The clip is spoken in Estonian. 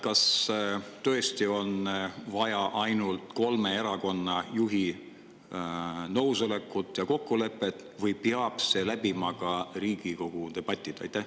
Kas tõesti on vaja ainult kolme erakonna juhi nõusolekut ja kokkulepet või peab see läbima ka Riigikogu debatid?